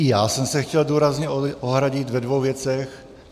I já jsem se chtěl důrazně ohradit ve dvou věcech.